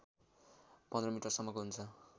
१५ मिटरसम्मको हुन्छ